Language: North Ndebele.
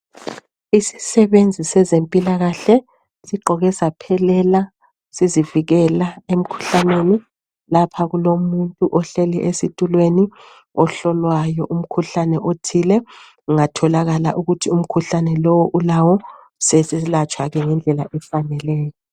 isisebenzi sezempilakahle sigqoke saphelela sizivikela emkhuhlaneni lapha kulomuntu ohleli esitulweni ohlolwayo umkhuhlane othile kungatholakala ukuthi umkhuhlane lo ulawo seselatshwa ke ngendlela efaneleyo